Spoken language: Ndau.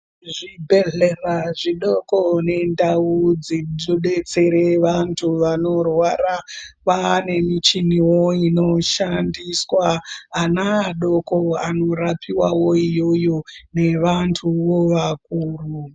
Zvibhedhlera zvidoko nendau dzinodetsere vantu vanorwara kwane michiniwo inoshandiswa, ana adoko anorapiwawo iyoyo nevantuwo vakuru.